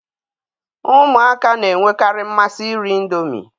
Ụmụaka na-enwekarị mmasị iri Indomi